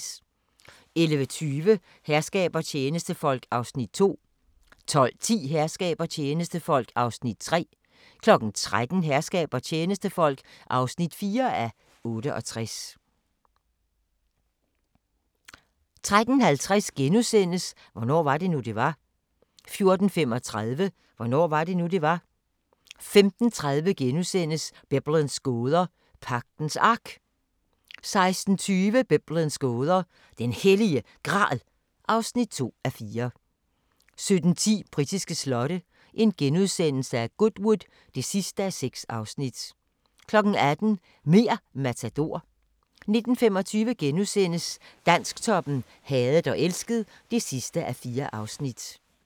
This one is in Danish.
11:20: Herskab og tjenestefolk (2:68) 12:10: Herskab og tjenestefolk (3:68) 13:00: Herskab og tjenestefolk (4:68) 13:50: Hvornår var det nu, det var? * 14:35: Hvornår var det nu, det var? 15:30: Biblens gåder – Pagtens Ark (1:4)* 16:20: Biblens gåder – Den Hellige Gral (2:4) 17:10: Britiske slotte: Goodwood (6:6)* 18:00: Mer' Matador 19:25: Dansktoppen: Hadet og elsket (4:4)*